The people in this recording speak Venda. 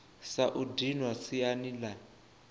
sa u dinwa siani la